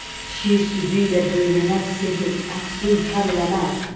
Şir südü ilə böyüyənə sehr əfsun kar eləməz.